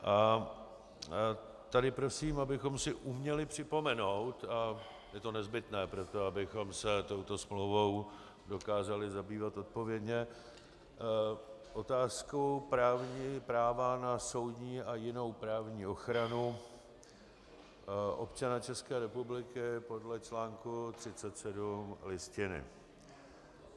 A tady prosím, abychom si uměli připomenout, je to nezbytné pro to, abychom se touto smlouvou dokázali zabývat odpovědně, otázku práva na soudní a jinou právní ochranu občana České republiky podle článku 37 Listiny.